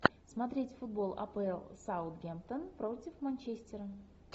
смотреть футбол апл саутгемптон против манчестера